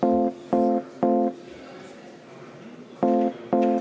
Ettepanek ei leidnud toetust.